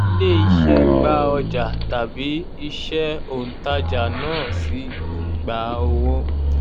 ilé iṣẹ̀ gba ọjà tabi iṣẹ́ ontajà náà sì gba owó